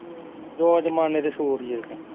ਉਹ ਜ਼ਮਾਨੇ ਦੇ ਸੂਟ ਹੀ